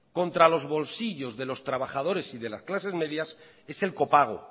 contra los bolsillos de los trabajadores y de las clases medias es el copago